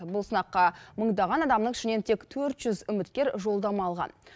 бұл сынаққа мыңдаған адамның ішінен тек төрт жүз үміткер жолдама алған